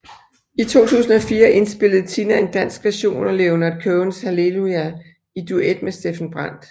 I 2004 indspillede Tina en dansk version af Leonard Cohens Hallelujah i duet med Steffen Brandt